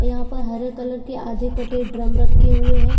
यहाँ पर हरे कलर के आधे कटे ड्रम रखे हुए है।